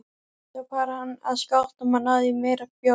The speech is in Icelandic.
Svo fór hann að skápnum og náði í meiri bjór.